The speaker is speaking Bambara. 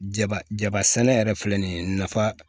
Jaba jaba sɛnɛ yɛrɛ filɛ nin ye nafa